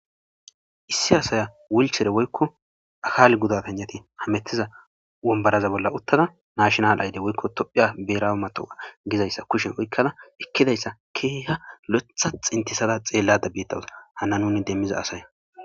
issi asaya wulchere woykko akaal gudapanjati hametiza wombaraza bolla uttada naashonal ayde woykko tophiya beera matoa gizayssa kushe woykkada ekkidayssa keehiha loetha xintisada xeelladabbettawusa hana nuni demmiza asay